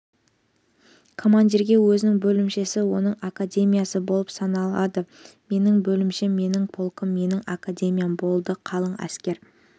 командирге өзінің бөлімшесі оның академиясы болып саналады менің бөлімшем менің полкым менің академиям болды қалың әскер